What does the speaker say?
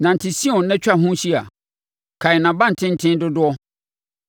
Nante Sion na twa ho hyia, kan nʼabantenten dodoɔ,